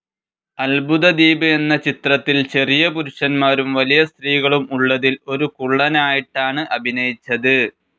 അത്ഭുതദ്വീപ് എന്ന ചിത്രത്തിൽ ചെറിയ പുരുഷന്മാരും വലിയ സ്ത്രീകളും ഉള്ളതിൽ ഒരു കുള്ളനായിട്ടാണ് അഭിനയിച്ചത്.